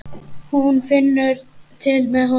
Hún finnur til með honum.